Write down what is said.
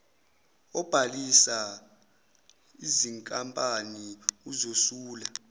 obhalisa izinkampani uzosula